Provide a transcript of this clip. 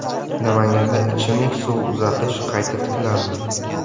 Namanganda ichimlik suvi uzatish qayta tiklandi.